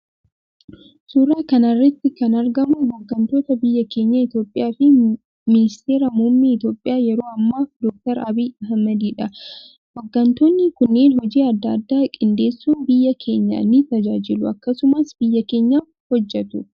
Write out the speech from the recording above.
Suuraa kanarratti kan argamu hoggantoota biyyaa keenya itoophiyaa fi ministeera muummee itoophiya yeroo ammaa doktar abiy ahimad idha . Hoggantoonni kunneen hojii adda addaa qindeessun biyya keenya ni tajaajilu akkasumas biyya keenyaf hojjetu.